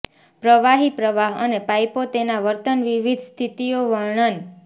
પ્રવાહી પ્રવાહ અને પાઈપો તેના વર્તન વિવિધ સ્થિતિઓ વર્ણન